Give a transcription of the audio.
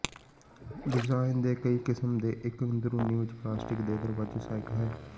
design ਦੇ ਕਈ ਕਿਸਮ ਦੇ ਇੱਕ ਅੰਦਰੂਨੀ ਵਿੱਚ ਪਲਾਸਟਿਕ ਦੇ ਦਰਵਾਜ਼ੇ ਸਹਾਇਕ ਹੈ